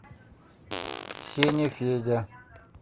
сеня федя